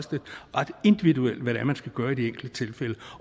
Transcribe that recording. ret individuelt hvad man skal gøre i de enkelte tilfælde